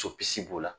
Topisi b'o la